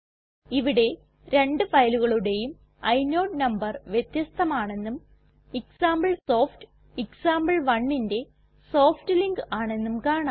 ഇവിടെ രണ്ട് ഫയലുകളുടേയും ഇനോട് നമ്പർ വ്യത്യസ്ഥമാണെന്നും എക്സാംപിൾസോഫ്റ്റ് example1ന്റെ സോഫ്റ്റ്ലിങ്ക് ആണെന്നും കാണാം